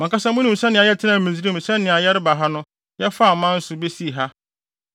Mo ankasa munim sɛnea yɛtenaa Misraim ne sɛnea yɛreba ha no yɛfaa aman so besii ha.